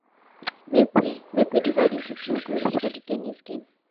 make we make we divide into two groups fir the ten nis game.